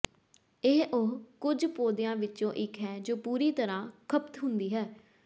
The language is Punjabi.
ਇਹ ਉਹ ਕੁਝ ਪੌਦਿਆਂ ਵਿੱਚੋਂ ਇੱਕ ਹੈ ਜੋ ਪੂਰੀ ਤਰ੍ਹਾਂ ਖਪਤ ਹੁੰਦੀ ਹੈ